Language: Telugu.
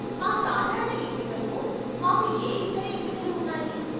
మా సాధారణ ఎంపికకు మాకు ఏ ఇతర ఎంపికలు ఉన్నాయి?